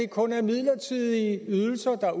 kun er midlertidige ydelser der